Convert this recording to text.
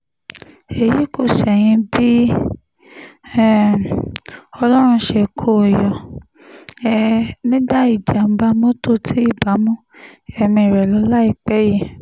èyí kò ṣẹ̀yìn bí um ọlọ́run ṣe kó o yọ um nínú ìjàm̀bá mọ́tò tí ibà mú ẹ̀mí rẹ lọ láìpẹ́ yìí